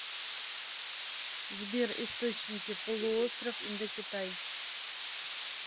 сбер источники полуостров индокитай